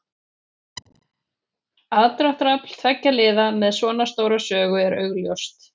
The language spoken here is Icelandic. Aðdráttarafl tveggja liða með svona stóra sögu er augljóst.